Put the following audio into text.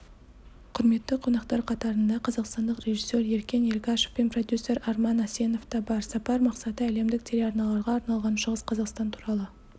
құрметті қонақтар қатарында қазақстандық режиссер еркен елгашев пен продюсер арман асенов та бар сапар мақсаты әлемдік телеарналарға арналған шығыс қазақстан туралы